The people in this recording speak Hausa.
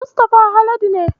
Mustafa Haladu ne.